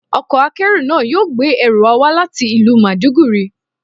Ọkọ̀ akérò náà yóò gbé ẹrù wa wá láti ìlú Maiduguri.